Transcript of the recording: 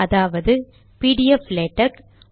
அதாவது PDF LaTeX